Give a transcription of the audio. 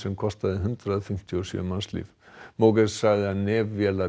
kostaði hundrað fimmtíu og sjö mannslíf sagði að nef vélar